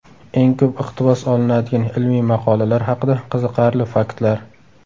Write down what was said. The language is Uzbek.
Eng ko‘p iqtibos olinadigan ilmiy maqolalar haqida qiziqarli faktlar.